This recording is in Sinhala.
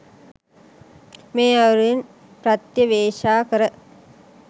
මේ අයුරින් ප්‍රත්‍යවේක්‍ෂා කර